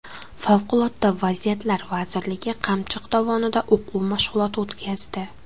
Favqulodda vaziyatlar vazirligi Qamchiq dovonida o‘quv mashg‘uloti o‘tkazdi .